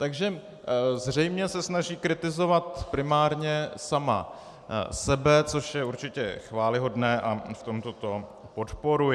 Takže zřejmě se snaží kritizovat primárně sama sebe, což je určitě chvályhodné a v tomto to podporuji.